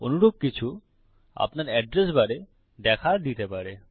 অনুরূপ কিছু আপনার এড্রেস বারে দেখা দিতে পারে